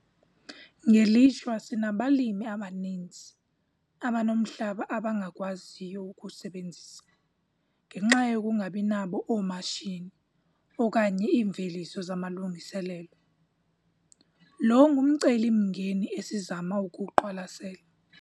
Ngelishwa sinabalimi abaninzi abanomhlaba abangakwaziyo ukuwusebenzisa ngenxa yokungabi nabo oomatshini okanye iimveliso zamalungiselelo - lo ngumcelimngeni esizama ukuwuqwalasela.